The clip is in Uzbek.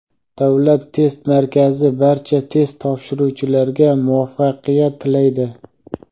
Davlat test markazi barcha test topshiruvchilarga muvaffaqiyat tilaydi!.